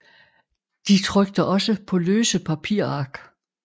De trykte også på løse papirark